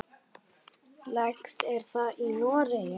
Lægst er það í Noregi.